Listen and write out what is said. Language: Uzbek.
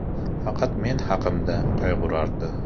Faqat men haqimda qayg‘urardi.